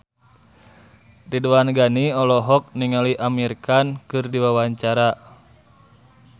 Ridwan Ghani olohok ningali Amir Khan keur diwawancara